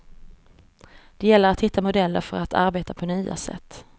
Det gäller att hitta modeller för att arbeta på nya sätt.